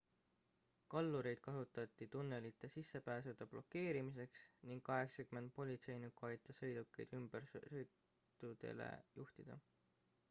kallureid kasutati tunnelite sissepääsude blokeerimiseks ning 80 politseinikku aitas sõidukeid ümbersõitudele juhtida